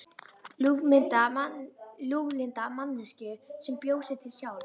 Ljúflynda manneskju sem bjó sig til sjálf.